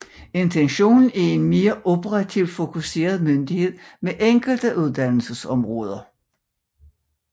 Intentionen er en mere operativt fokuseret myndighed med enkelte uddannelsesområder